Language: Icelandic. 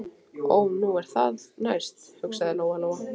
Ó, nú er það næst, hugsaði Lóa Lóa.